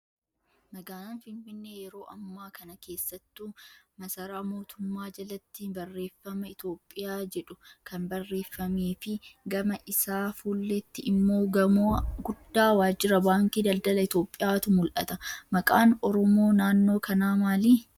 Magaalaan Finfinnee yeroo ammaa kana keessattuu maasaraa mootummaa jalatti barreeffama Itoophiyaa jedhu kan barreeffamee fi gama isaa fuulleetti immoo gamoo guddaa waajjira baankii daldala Itoophiyaatu mul'ata. Maqaan oromoo naannoo kanaa maali?